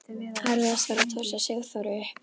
Erfiðast var að tosa Sigþóru upp.